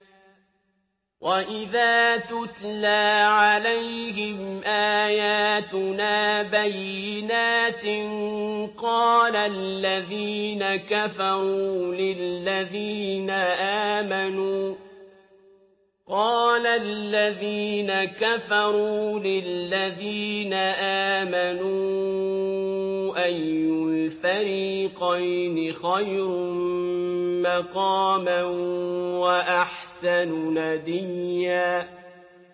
وَإِذَا تُتْلَىٰ عَلَيْهِمْ آيَاتُنَا بَيِّنَاتٍ قَالَ الَّذِينَ كَفَرُوا لِلَّذِينَ آمَنُوا أَيُّ الْفَرِيقَيْنِ خَيْرٌ مَّقَامًا وَأَحْسَنُ نَدِيًّا